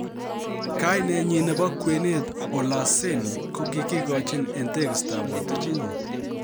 Kainenyin nebo kwenet Olaseni ko kigigochi en tegistab botichinyin.